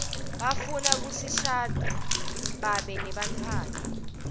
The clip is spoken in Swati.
bafuna kishadza biabe nebantfuana